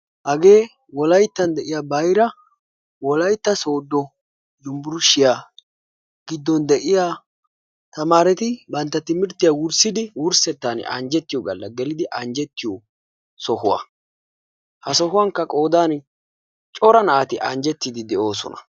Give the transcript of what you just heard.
Hagee wolayttan de'iya bayra wolaytta sooddo unbbershshiya giddon de'iya tamaareti bantta timirttiya wurssidi wurssettaan anjjettiyo galla gelidi anjjettiyo sohuwan. Ha sohuwankka qoodaan cora naati anjjettidi de'oosona.